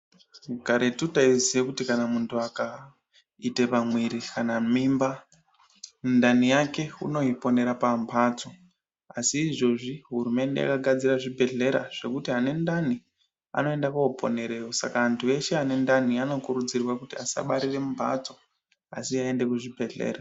Karetu taiziye kuti kana munhu akaite pamwiri kana mimba, ndani yake unoiponera pambatso, Asi izvozvi hurumende yakagadzira zvibhedhlera zvekuti ane ndani anoenda koponereyo. Saka antu eshe ane ndani anokurudzirwa kuti asabarire mumbatso, asi aende kuzvibhedhlera.